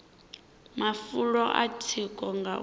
mafulo a tsiko nga u